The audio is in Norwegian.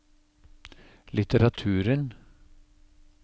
litteraturen